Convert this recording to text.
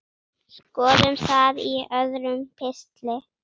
Skoðum það í öðrum pistli.